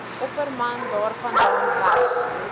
opperman daarvandaan weg